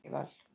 Danival